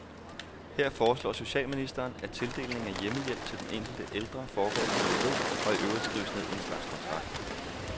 Her foreslår socialministeren, at tildelingen af hjemmehjælp til den enkelte ældre foregår i dialog, og i øvrigt skrives ned i en slags kontrakt.